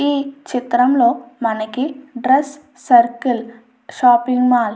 ఈ చిత్రంలో మనకి డ్రెస్ సర్కిల్ షాపింగ్ మాల్ అని --